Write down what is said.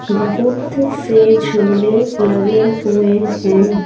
बहुत से झूले लगे हुए हैं।